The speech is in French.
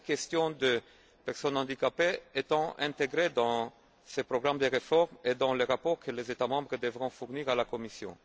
la question des personnes handicapées étant intégrée dans ces programmes de réforme et dans les rapports que les États membres devront fournir à la Commission.